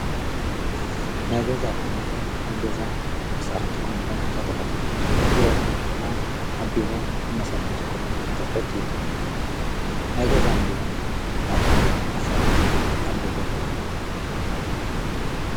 ናይ ገዛ ኣቑሑ ማለት ኣብ ገዛ መሳርሒ ንጥቀመሎም ዓይነታት ኣቑሑ እዮም ማለት እዩ ናይ ቢሮ ኣቑሑት ድማ ኣብ ቢሮ ከም መሳርሒ ንጥቀሞም ዓይነት ኣቁሑት እዮም ናይ ገዛን ቢሮን ኣቁሑ ኣፈላላይ ኣለዎም ዶ ?